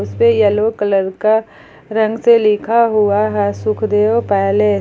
इसपे yellow colour का रंग से लिखा हुआ है सुखदेव पैलेस ।